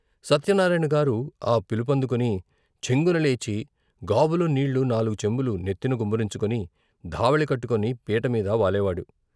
సత్యనారాయణగారు ఆ పిలుపందుకుని చెంగున లేచి గాబులో నీళ్ళు నాలుగు చెంబులు నెత్తిన గుమ్మరించుకుని ధావళీ కట్టుకొని పీట మీద వాలేవాడు.